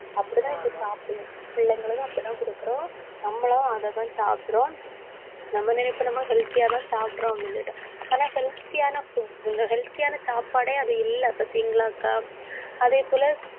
அப்படிதான் இப்படி சாப்பிடறோம் பிள்ளைங்களுக்கும், அப்படிதான் கொடுக்கிறோம். நம்மளும், அதைதான் சாப்பிடுறோம் நம்ம நினைப்போம் நம்ம healthy யாதான் சாப்பிடுறோம் அப்படின்னு சொல்லிட்டு ஆனா healthy யான food healthy யான சாப்பாடே அது இல்லை பார்த்தீங்களாக்கா அதேபோல